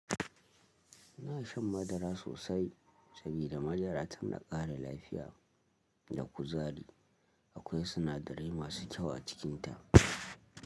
Ina shan madara sosai, sabida madara tana ƙara lafiya da kuzari. Akwai sinadarai masu kyau a cikinta.